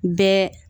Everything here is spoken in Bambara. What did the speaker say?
Bɛɛ